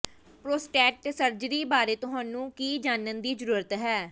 prostate surgery ਬਾਰੇ ਤੁਹਾਨੂੰ ਕੀ ਜਾਣਨ ਦੀ ਜ਼ਰੂਰਤ ਹੈ